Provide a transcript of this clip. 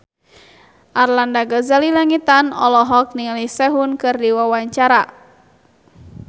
Arlanda Ghazali Langitan olohok ningali Sehun keur diwawancara